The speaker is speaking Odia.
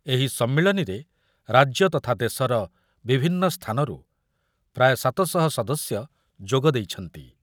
ଏହି ସମ୍ମିଳନୀରେ ରାଜ୍ୟ ତଥା ଦେଶର ବିଭନ୍ନ ସ୍ଥାନରୁ ପ୍ରାୟ ସାତଶହ ସଦସ୍ୟ ଯୋଗ ଦେଇଛନ୍ତି।